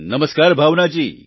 નમસ્કાર ભાવના જી